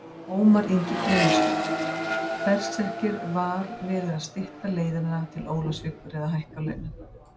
Ómar Ingi Guðmundsson, Berserkir Var verið að stytta leiðina til Ólafsvíkur eða hækka launin?